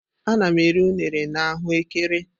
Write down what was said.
Ana m eri unere na ahu ekere.